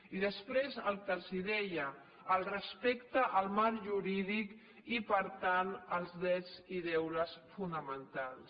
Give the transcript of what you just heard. i després el que els deia el respecte al marc jurídic i per tant als drets i deures fonamentals